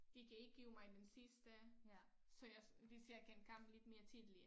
De kan ikke give mig min sidste så jeg hvis jeg kan komme lidt mere tidligt